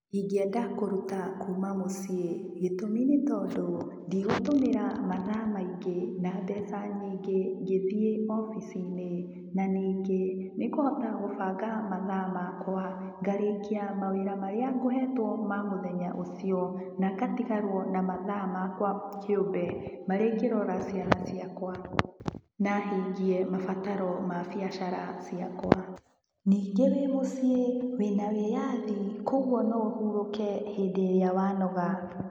Ingĩenda kũruta kuuma mũciĩ. Gĩtũmi nĩ tondũ, ndigũtũmĩra mathaa maingĩ na mbeca nyingĩ ngĩthiĩ wobici-inĩ. Na ningĩ, nĩ ngũhota gũbanga mathaa makwa. Ngarĩkia mawĩra marĩa ngũhetwo ma mũthenya ũcio, na ngatigarwo na mathaa makwa kĩũmbe, marĩa ingĩrora ciana ciakwa, na hingie mabataro ma mbiacara ciakwa. Ningĩ wĩ mũciĩ, wĩna wĩathi, kũoguo no ũhurũke rĩrĩa wanoga.